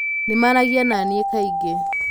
Nĩ maaragia na niĩ kaingĩ.